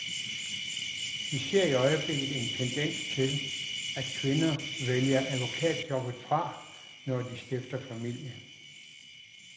Vi ser i øjeblikket en tendens til, at kvinder vælger advokatjobbet fra, når de stifter familie.